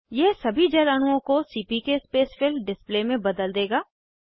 यह सभी जल अणुओं को सीपीके स्पेसफिल डिस्प्ले में बदल देगा